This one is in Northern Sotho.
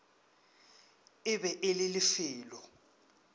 e be e le lefelo